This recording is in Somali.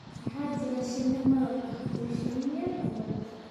waxaa jira shinni malab ah iyo shinni yar oo malab ah